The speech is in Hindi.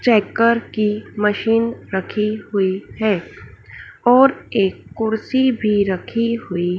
चेकर की मशीन रखी हुई है और एक कुर्सी भी रखी हुई--